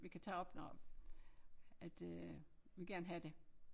Vi kan tage op når at øh vi gerne have det